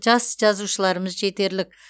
жас жазушыларымыз жетерлік